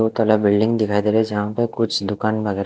दो तल्ला बिल्डिंग दिखाई दे रही है जहाँ पे कुछ दुकान वगैरह है।